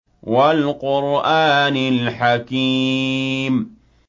وَالْقُرْآنِ الْحَكِيمِ